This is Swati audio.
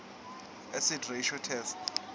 acid ratio test